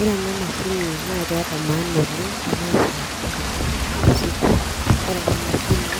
Ore ena mashini naa keeta maana oleng te maisha oltungani Kila siku ore ena mashini